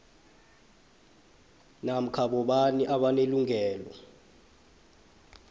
namkha bobani abanelungelo